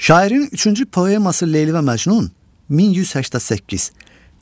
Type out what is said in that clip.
Şairin üçüncü poeması Leyli və Məcnun 1188.